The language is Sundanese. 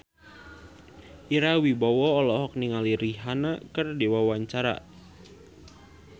Ira Wibowo olohok ningali Rihanna keur diwawancara